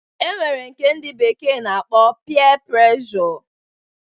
E nwere nke ndị bekee na-akpọ pịa pregjo